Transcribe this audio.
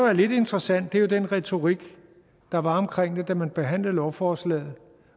er lidt interessant er jo den retorik der var omkring det da man behandlede lovforslaget